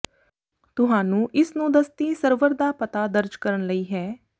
ਤੁਹਾਨੂੰ ਇਸ ਨੂੰ ਦਸਤੀ ਸਰਵਰ ਦਾ ਪਤਾ ਦਰਜ ਕਰਨ ਲਈ ਹੈ